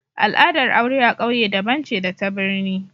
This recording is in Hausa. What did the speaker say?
Al'adar aure a ƙauye daban ce da ta birni